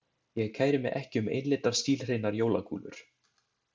Ég kæri mig ekki um einlitar stílhreinar jólakúlur.